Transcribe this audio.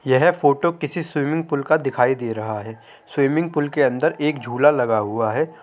यह फोटो किसी swimming pool का दिखाई दे रहा है। स्विमिंग पूल के अंदर एक झूला लगा हुआ है।